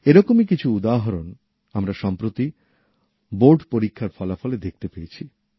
এরকমই কিছু উদাহরণ আমরা সম্প্রতি বোর্ড পরীক্ষার ফলাফলে দেখতে পেয়েছি